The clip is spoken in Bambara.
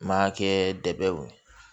N ma kɛ dɛ